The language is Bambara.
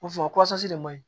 O fɔ de man ɲi